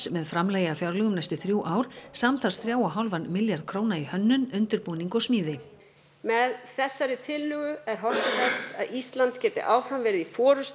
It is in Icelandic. með framlagi af fjárlögum næstu þrjú ár samtals þrjá og hálfan milljarð króna í hönnun undirbúning og smíði með þessari tillögu er horft til þess að Ísland geti áfram verið í